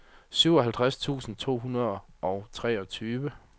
syvoghalvtreds tusind to hundrede og treogtyve